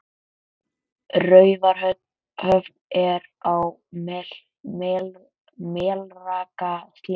Raufarhöfn er á Melrakkasléttu.